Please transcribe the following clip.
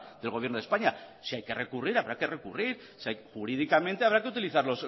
del gobierno de españa si hay que recurrir habrá que recurrir jurídicamente habrá que utilizar